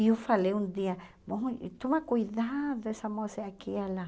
E eu falei um dia, olha toma cuidado, essa moça é aquela.